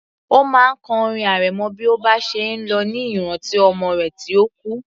Ó máa ń kọ orin arẹmọ bí ó bá ṣe ń lọ ní ìrántí ọmọ rẹ̀ tí ó kú